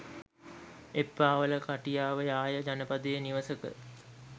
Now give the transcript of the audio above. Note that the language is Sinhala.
එප්පාවල කටියාව යාය ජනපදයේ නිවසක